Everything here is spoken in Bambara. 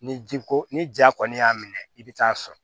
Ni ji ko ni ja kɔni y'a minɛ i bɛ taa sɔrɔ